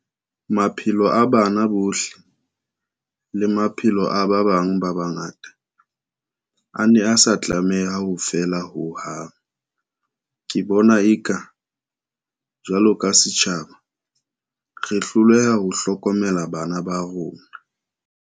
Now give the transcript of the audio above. Maphelo a bana bohle, le maphelo a ba bang ba bangata, a ne a sa tlameha ho feela ho hang. Ke bona eka, jwalo ka se tjhaba, re hloleha ho hlokomela bana ba rona.